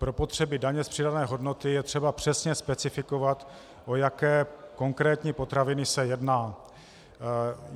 Pro potřeby daně z přidané hodnoty je třeba přesně specifikovat, o jaké konkrétní potraviny se jedná.